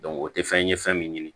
o tɛ fɛn ye fɛn min ɲini